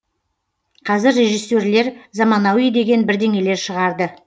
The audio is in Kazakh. қазір режиссерлер заманауи деген бірдеңелер шығарды